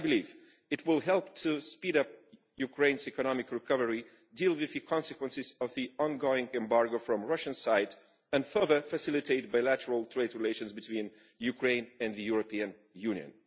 I believe it will help to speed up Ukraine's economic recovery, deal with the consequences of the ongoing embargo from the Russian side and further facilitate bilateral trade relations between Ukraine and the European Union.